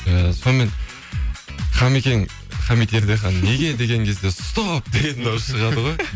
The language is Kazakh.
і сонымен хамикең хамид ердехан неге деген кезде стоп деген дауыс шығады ғой